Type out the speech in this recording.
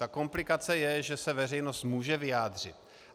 Ta komplikace je, že se veřejnost může vyjádřit.